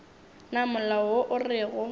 na molao wo o rego